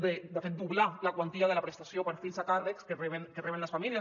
de fet doblar la quantia de la prestació per fills a càrrec que reben les famílies